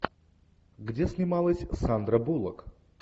где снималась сандра буллок